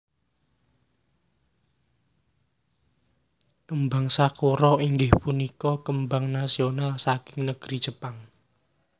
Kembang Sakura inggih punika kembang nasional saking negri Jepang